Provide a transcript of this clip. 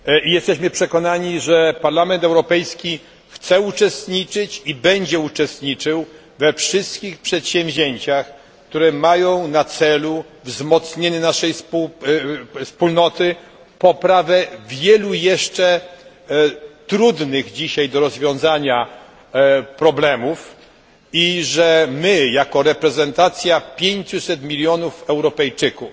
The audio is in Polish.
Jesteśmy przekonani, że Parlament Europejski chce i będzie uczestniczyć we wszystkich przedsięwzięciach, które mają na celu wzmocnienie naszej Wspólnoty, poprawę w zakresie wielu jeszcze trudnych dzisiaj do rozwiązania problemów. My jako reprezentacja 500 mln Europejczyków